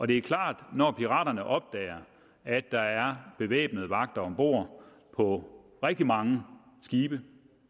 det er klart at når piraterne opdager at der er bevæbnede vagter om bord på rigtig mange skibe